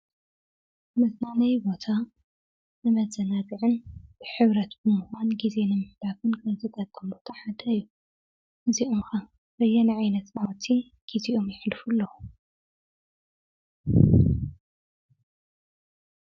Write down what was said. ምዝናነይ ቦታ ንመዘናብዕን ብሒብረት ብምዋን ጊዜ ንምሕዳኽን ዘጠቀሙ ተሓደዩ ዚዑምኻ ርየንዐይነት መወቲ ጊዜኡም ይኅልፉ ኣለዉ።